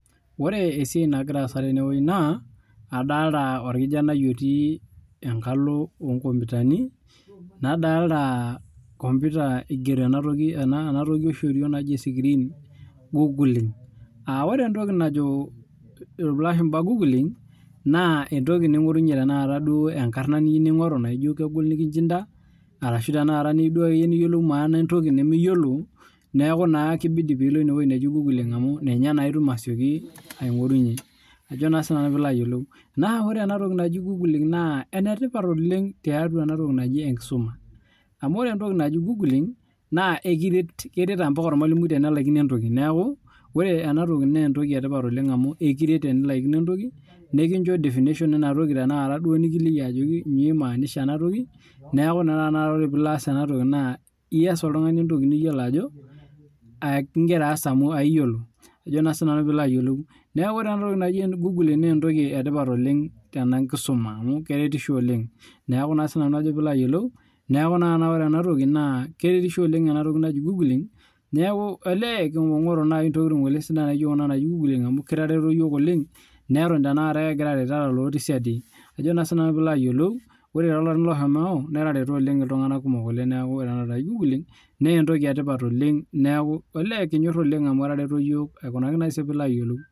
Ore esiai nagira asaa tenewueji adolita orkijanai otii enkalo nkompitani egira ena toki yooriog naaji screen google ore entoki najo elashumba gooling naa entoki ning'orunye enkarna naijio kegol nikinjinda arashu duo akeyie niyieu niyiolou maana entoki nimiyiolo neeku naa kibidii pee elo enewueji nejia googling amu ninye naa etum asioki naa ore enatoki naaji googling naa enetipat oleng tiatua enatoki naaji enkisuma amu ore ena toki naaji gooling naa ekiret keret mbaka or malimuni tenelaikino entoki neeku ore ena toki naa entoki etipat oleng amu ekiret tenilaikino entoki nikicho divination enatoki nikiliki Ajo kainyio eimanisha ena toki neeku ore pilo as enatoki naa eyas oltung'ani entoki nyiolo Ajo egira asa amu eyiolou neeku ore ena toki naaji googling naa enetipat oleng Tena kisuma amu keretisho oleng neeku Ajo sinanu pee ilo ayiolou ore ena toki naa keretisho oleng enatoki najii googling neeku engongoru entokitin sidain naijio Kuna naaji googling amu etareto iyiok oleng neton ake egira aret iyiok neton eret eloo otii siadi Ajo sinanu pee elo ayiolou ore too larin ohomo netaretuo iltung'ana kumok oleng neeku Ajo nanu googling naa entoki etipat oleng neeku olee kinyor oleng amu etareto iyiok